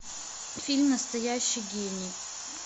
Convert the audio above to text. фильм настоящий гений